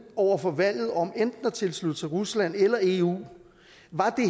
over for valget om enten at tilslutte sig rusland eller eu